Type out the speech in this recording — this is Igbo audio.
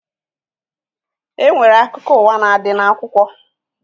E nwere akụkọ ụwa na-adị n'akwụkwọ